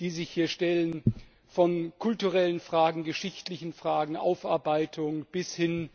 die sich hier stellen, von kulturellen Fragen, geschichtlichen Fragen, Aufarbeitung bis hin